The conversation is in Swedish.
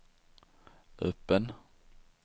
öppen